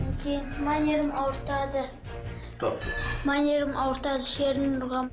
әкем мына жерімді ауыртады мына жерімді ауыртады ұрған